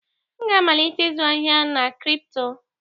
M ga-amalite ịzụ ahịa na kripto.